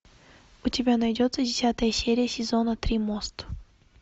у тебя найдется десятая серия сезона три мост